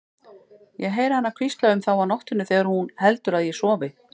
Ég heyri hana hvísla um þá á nóttunni þegar hún heldur að ég sofi.